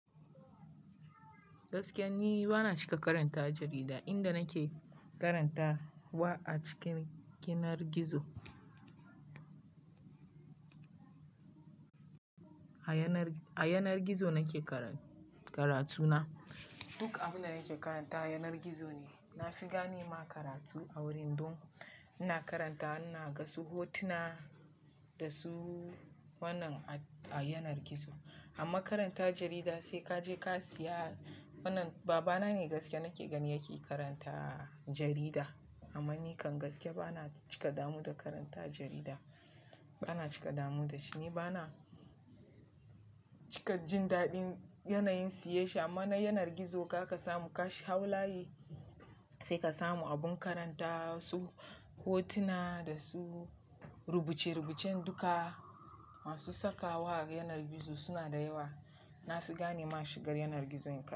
Gaskiya ni bana cika karanta jarida, inda nake karanta wa a cikin yanar gizo. A yanar gizo nake karatu na. Duk abin da nake karantawa a yanar gizo ne. Na fi gane ma karatu a wurin, don ina karanta ina ga su hotuna da su wannan a yanar gizo. Amma karanta jarida sai ka je ka siya wannan. Babana ne gaskiya nake gani yake karanta jarida amma ni kan gaskiya bana cika damuwa da karanta jarida. Bana cika damuwa da shi. Ni bana cika jin daɗin yanayin siyen shi amma na yanar gizo ka ka samu kashi hau layi sai ka samu abin karanta su hotuna da su rubuce-rubucen duka masu sakawa a yanar gizo suna da yawa. Na fi gane ma in shiga yanar gizo.